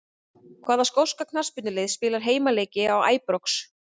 Hvaða skoska knattspyrnulið spilar heimaleiki á Æbrox?